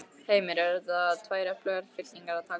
Heimir: Eru þetta tvær öflugar fylkingar að takast á?